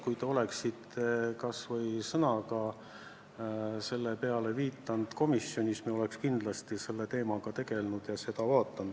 Kui te oleksite kas või ühe sõnaga sellele komisjonis viidanud, siis me oleks kindlasti selle teemaga tegelenud.